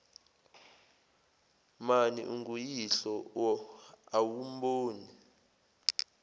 mani unguyihlo awumboni